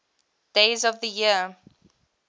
days of the year